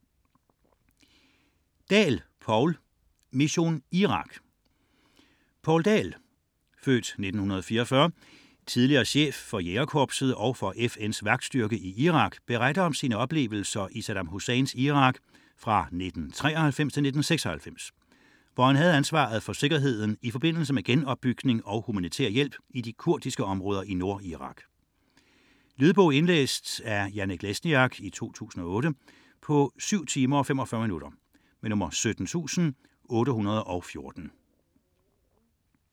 99.4 Dahl, Poul Dahl, Poul: Mission Irak Den tidligere chef (f. 1944) for Jægerkorpset og for FN's vagtstyrke i Irak beretter om sine oplevelser i Saddam Husseins Irak 1993-1996, hvor han havde ansvaret for sikkerheden i forbindelse med genopbygning og humanitær hjælp i de kurdiske områder i Nordirak. Lydbog 17814 Indlæst af Janek Lesniak, 2008. Spilletid: 7 timer, 45 minutter.